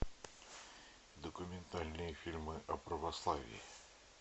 документальные фильмы о православии